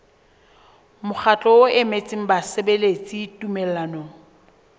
mokgatlo o emetseng basebeletsi tumellanong